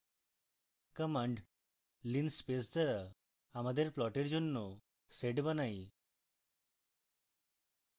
command linspace দ্বারা আমাদের প্লটের জন্য পয়েন্টের set বানাই